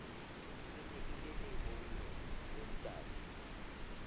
e ne e leboloi boontatae